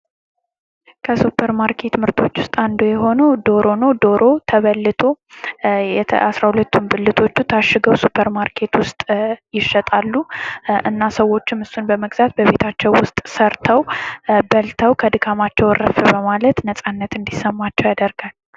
ከሱፐር ማርኬት ምርቶች ውስጥ አንዱ የሆነው ዶሮ ነው። ዶሮ ተበልቶ 12ቱም ብልቶቹ ታሽገው ሱፐር ማርኬት ውስጥ ይሸጣሉ እና ሰዎችም እሱን በመግዛት በቤታቸው ውስጥ ሰርተው በልተው ከድካማቸው እርፍ በማለት ነፃነት እንዲሰማቸው ያደርጋል።